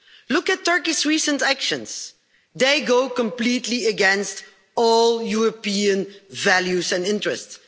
Look at Turkey's recent actions. They go completely against all European values and interests.